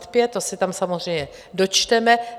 To se tam samozřejmě dočteme.